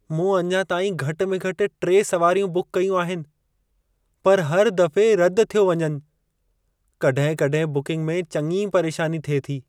मूं अञा ताईं घटि में घटि 3 सुवारियूं बुकु कयूं आहिनि, पर हर दफ़े रदि थियो वञनि। कॾहिं-कॾहिं बुकिंग में चङी परेशानी थिए थी।